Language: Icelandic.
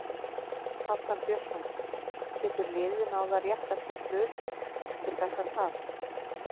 Arnar Björnsson: Getur liðið náð að rétta sinn hlut eftir þetta tap?